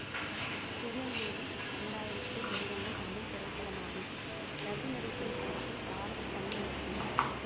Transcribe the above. திருநெல்வேலி இரண்டயிறத்தில் வெளிவந்த தமிழ் திரைப்படமாகும் பிரபு நடித்த இப்படத்தை பாரதிகண்ணன் இயக்கினார்